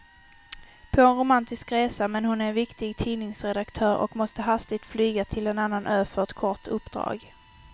På romantisk resa, men hon är viktig tidningsredaktör och måste hastigt flyga till en annan ö för ett kort uppdrag.